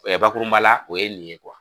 bakurunba la o ye nin ye .